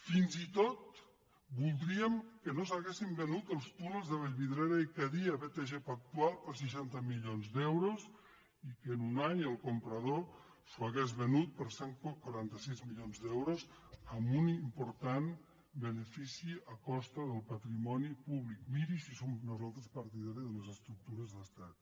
fins i tot voldríem que no s’haguessin venut els túnels de vallvidrera i cadí a btg pactual per seixanta milions d’euros i que en un any el comprador s’ho hagués venut per cent i quaranta sis milions d’euros amb un important benefici a costa del patrimoni públic miri si som nosaltres partidaris de les estructures d’estat